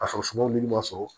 A sɔrɔ sumaw ni ma sɔrɔ